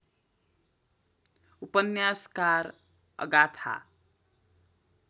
उपन्यासकार अगाथा